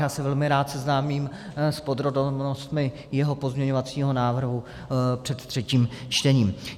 Já se velmi rád seznámím s podrobnostmi jeho pozměňovacího návrhu před třetím čtením.